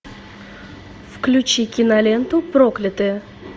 включи киноленту проклятые